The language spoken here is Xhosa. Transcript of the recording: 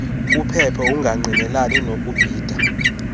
kuphephe ungangqinelani nokubhida